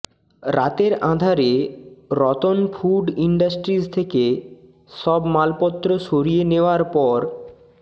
রাতের আঁধারে Ratan food industries থেকে সব মালপত্র সরিয়ে নেওয়ার পর